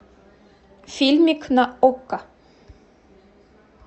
фильмик на окко